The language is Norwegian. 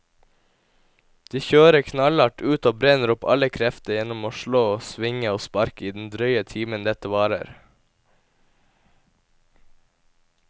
De kjører knallhardt ut og brenner opp alle krefter gjennom å slå, svinge og sparke i den drøye timen dette varer.